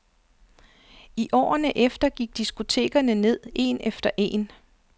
I årene efter gik diskotekerne ned en efter en.